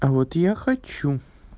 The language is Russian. а вот я хочу